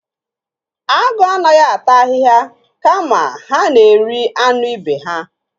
Agụ anaghị ata ahịhịa kama ha na-eri anụ ibe ha.